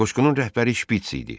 Qoşqunun rəhbəri Şpits idi.